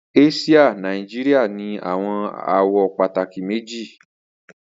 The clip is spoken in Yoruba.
Asia Naijiria ni awọn awọ pataki meji